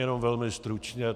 Jenom velmi stručně.